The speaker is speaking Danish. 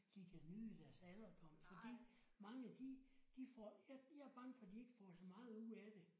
De kan nyde deres alderdom fordi mange de de får jeg jeg er bange for de ikke får så meget ud af det